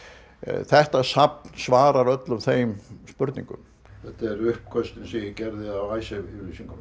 þetta safn svarar öllum þeim spurningum þetta eru uppköstin sem ég gerði að Icesave yfirlýsingunum